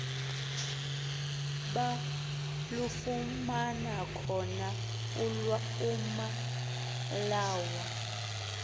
balufumana khona amalawu